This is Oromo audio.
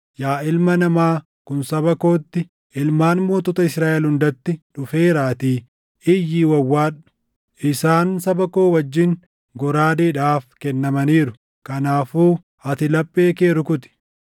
Yaa ilma namaa, kun saba kootti, ilmaan mootota Israaʼel hundatti dhufeeraatii, iyyii wawwaadhu. Isaan saba koo wajjin goraadeedhaaf kennamaniiru. Kanaafuu ati laphee kee rukuti.